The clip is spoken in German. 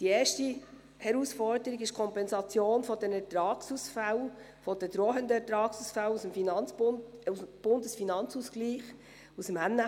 Die erste Herausforderung ist die Kompensation der drohenden Ertragsausfälle aus dem Bundesfinanzausgleich, aus dem NFA.